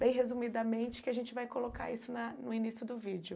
Bem resumidamente, que a gente vai colocar isso na no início do vídeo.